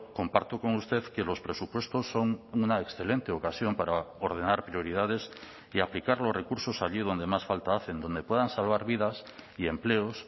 comparto con usted que los presupuestos son una excelente ocasión para ordenar prioridades y aplicar los recursos allí donde más falta hacen donde puedan salvar vidas y empleos